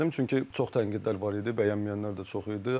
Çünki çox tənqidlər var idi, bəyənməyənlər də çox idi.